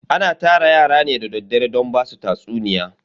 Ana tara yara ne da daddare don basu tatsuniya.